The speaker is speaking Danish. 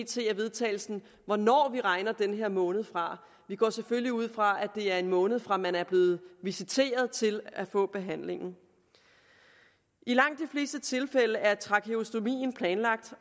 til vedtagelse hvornår vi regner den her måned fra vi går selvfølgelig ud fra at det er en måned fra man er blevet visiteret til at få behandlingen i langt de fleste tilfælde er trakeostomien planlagt